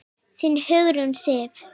Þín, Hugrún Sif.